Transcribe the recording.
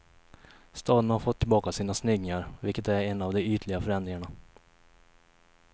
Staden har fått tillbaka sina snyggingar, vilket är en av de ytliga förändringarna.